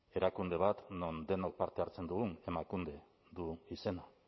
erakunde bat non denok parte hartzen dugun emakunde du izena